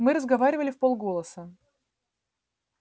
мы разговаривали вполголоса